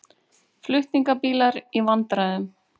Flutningabílar í vandræðum